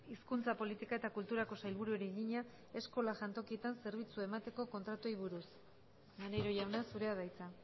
hizkuntza politika eta kulturako sailburuari egina eskola jantokietan zerbitzua emateko kontratuei buruz maneiro jauna zurea da hitza